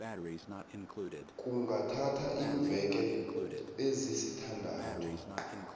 kungathatha iimveke ezisithandathu